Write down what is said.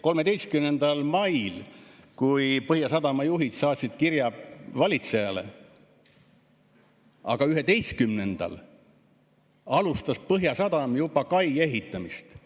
13. mail saatsid Põhjasadama juhid kirja valitsejale, aga 11‑ndal alustas Põhjasadam juba kai ehitamist.